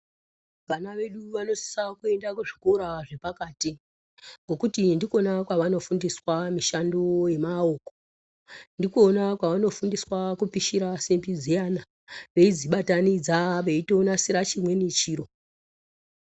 Vana vedu vanosisa kuenda kuzvikora zvepakati ngokuti ndikona kwavanofundiswa mishando wemaoko ndikona kwavanofundiswa kupishira simbi dziyana veidzibatanidza veitonasira chimweni chiro.